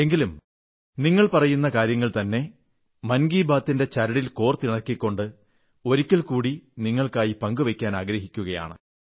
എങ്കിലും നിങ്ങൾ പറയുന്ന കാര്യങ്ങൾതന്നെ മൻ കി ബാത്തിന്റെ ചരടിൽ കോർത്തിണക്കിക്കൊണ്ട് ഒരിക്കൽക്കൂടി നിങ്ങൾക്കായി പങ്കുവയ്ക്കാൻ ആഗ്രഹിക്കയാണ്